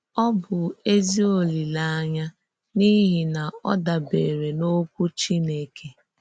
Ọ bụ̀ èzí òlílèànyà n’íhì na ọ dàbèrè n’Òkwú Chìnèkè.